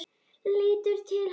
Lítur til hans.